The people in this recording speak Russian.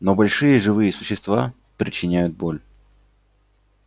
но большие живые существа причиняют боль